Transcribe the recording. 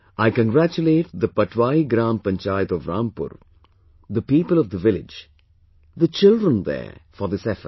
I congratulate the Patwai Gram Panchayat of Rampur, the people of the village, the children there for this effort